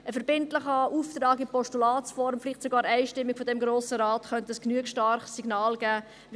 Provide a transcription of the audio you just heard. Ein verbindlicher Auftrag in Postulatsform, vielleicht sogar einstimmig, von diesem Grossen Rat könnte ein genügend starkes Signal geben.